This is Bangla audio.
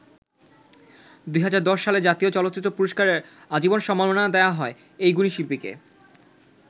২০১০ সালে জাতীয় চলচ্চিত্র পুরস্কারে আজীবন সম্মাননা দেয়া হয় এই গুণী শিল্পীকে।